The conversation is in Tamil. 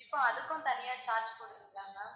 இப்போ அதுக்கும், தனியா charge போடுவீங்களா ma'am